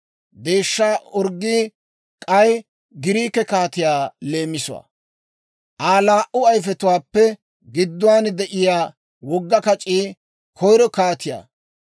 Deeshshaa orggii k'ay Giriike kaatiyaa leemisuwaa; Aa laa"u ayifetuwaappe gidduwaan de'iyaa wogga kac'ii koyiro kaatiyaa.